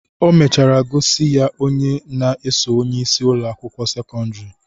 O mechara gosi ya onye na-eso onyeisi Ụlọ akwụkwọ sekọndrị